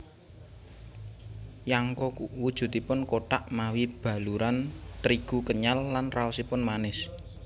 Yangko wujudipun kothak mawi baluran trigu kenyal lan raosipun manis